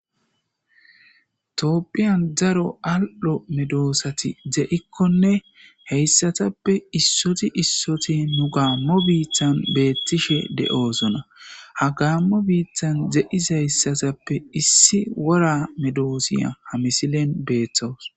toopphiyan daro al7o medoossati ze7ikkone heyssatappe issoti issoti nu gaammo biittan beettishe de7oosona ha gaammo biittan ze7isayssatappe issi wora medoosiya ha misilen beeththoos